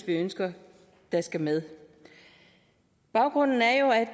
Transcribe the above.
ønsker der skal med baggrunden er jo